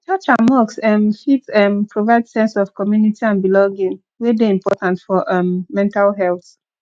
church and mosque um fit um provide sense of community and belonging wey dey important for um mental health